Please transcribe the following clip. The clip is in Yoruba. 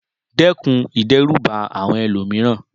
Dẹ́kun ìdẹ́rùbà àwọn ẹlòmíràn